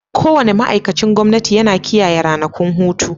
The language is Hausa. Kowane ma'aikacin gwamnati yana kiyaye ranakun hutu.